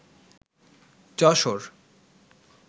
Jessore